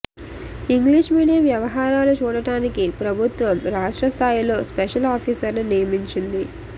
English medium వ్యవహారాలు చూడటానికి ప్రభుత్వం రాష్ట్రస్థాయిలో స్పెషల్ ఆఫీసర్ను నియమించింది